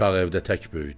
Uşaq evdə tək böyüdü.